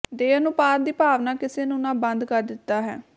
ਦੇ ਅਨੁਪਾਤ ਦੀ ਭਾਵਨਾ ਕਿਸੇ ਨੂੰ ਨਾ ਬੰਦ ਕਰ ਦਿੱਤਾ ਹੈ